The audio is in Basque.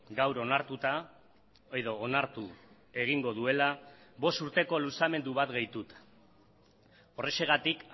gaur onartuta edo onartu egingo duela bost urteko luzamendu bat gehituta horrexegatik